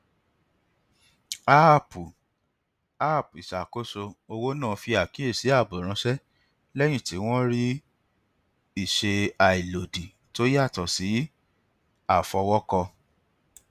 áàpù app ìṣàkóso owó náà fi àkíyèsí ààbò ránṣẹ lẹyìn tí wọn rí ìṣe àìlòdì tó yàtọ sí àfọwọkọ